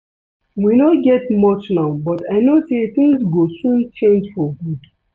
We no get much now but I no say things go soon change for good